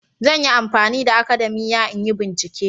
Zan yi amfani da akadamiya in yi bincike